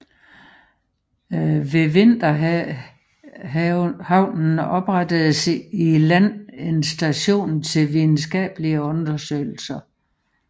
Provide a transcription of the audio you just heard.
Ved vinterhavnen oprettedes i land en station til videnskabelige undersøgelser